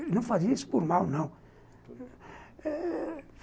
Ele não fazia isso por mal, não